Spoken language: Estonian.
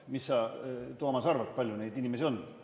Mis sa, Toomas, arvad, kui palju neid inimesi on?